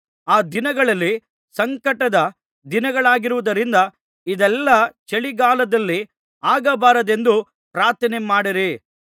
ಆ ದಿನಗಳು ಸಂಕಟದ ದಿನಗಳಾಗಿರುವುದರಿಂದ ಇದೆಲ್ಲಾ ಚಳಿಗಾಲದಲ್ಲಿ ಆಗಬಾರದೆಂದು ಪ್ರಾರ್ಥನೆ ಮಾಡಿರಿ